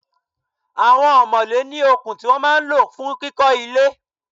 Àwọn omole ní okùn tí wọ́n máa ń lọ fún kíkó ilé.